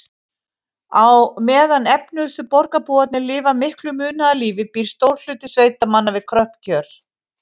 Á meðan efnuðustu borgarbúarnir lifa miklu munaðarlífi býr stór hluti sveitamanna við kröpp kjör.